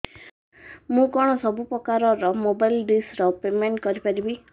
ମୁ କଣ ସବୁ ପ୍ରକାର ର ମୋବାଇଲ୍ ଡିସ୍ ର ପେମେଣ୍ଟ କରି ପାରିବି